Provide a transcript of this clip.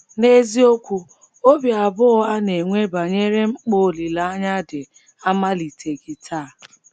N’eziokwu, obi abụọ a na - enwe banyere mkpa olileanya dị amaliteghị taa.